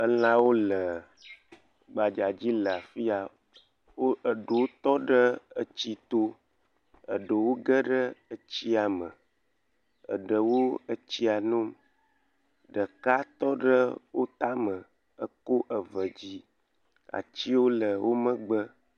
Elawo le gbagba dzi le afiya. Wo eɖewo tɔ ɖe etsi to. Eɖewo geɖe etsia me. Eɖewo etsia nom. Ɖeka tɔ ɖe wò tame ekɔ eve dzi. Atiwo le wò megbe.